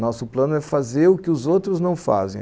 Nosso plano é fazer o que os outros não fazem.